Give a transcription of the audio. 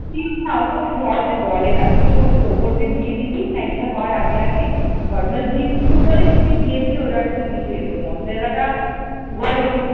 cheese না অত সহজে গলে না তুই উপর দিয়ে দিবি ম্যাগি টা করার আগে আগে cheese কিউব হলে ওটার সাথে দিয়ে দিলে মিশে যেত মজরেলাটা গলে কিন্তু